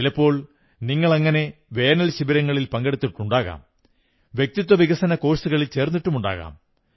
ചിലപ്പോൾ നിങ്ങളങ്ങനെ വേനൽശിബിരങ്ങളിൽ പങ്കെടുത്തിട്ടുണ്ടാകാം വ്യക്തിത്വ വികസന കോഴ്സുകളിൽ ചേർന്നിട്ടുമുണ്ടാകാം